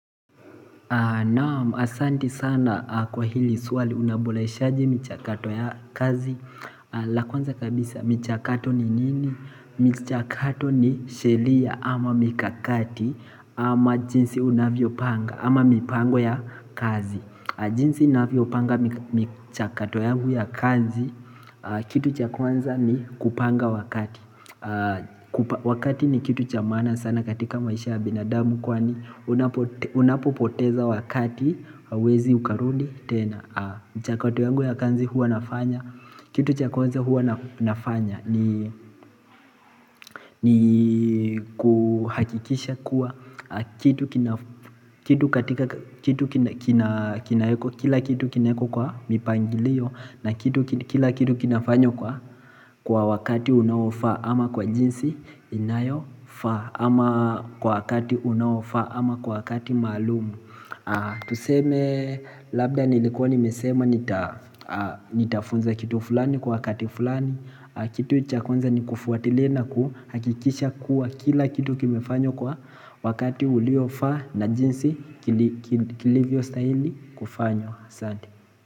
Naam asanti sana kwa hili suwali unaboleshaji michakato ya kazi la kwanza kabisa michakato ni nini? Michakato ni shelia ama mikakati ama jinsi unavyo panga ama mipango ya kazi jinsi navyo panga michakato yangu ya kazi kitu cha kwanza ni kupanga wakati Wakati ni kitu chamana sana katika maisha ya binadamu kwani Unapopoteza wakati hauwezi ukarudi tena mchakato yangu ya kanzi hua nafanya Kitu cha kwanza hua nafanya ni kuhakikisha kuwa Kitu katika kila kitu kineko kwa mipangilio na kila kitu kinafanywa kwa wakati unawofa ama kwa jinsi inayofa ama kwa wakati unawofa ama kwa wakati malumu Tuseme labda nilikuwa nimesema nitafunza kitu fulani kwa wakati fulani Kitu cha kwanza ni kufuatilia na kuhakikisha kuwa kila kitu kimefanywa kwa wakati uliofa na jinsi kilivyo stahili kufanywa aSante.